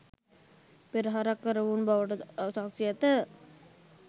පෙරහරක් කරවූ බවට ද සාක්‍ෂි ඇත.